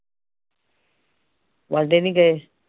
ਵਾਂਢੇ ਨੀ ਗਏ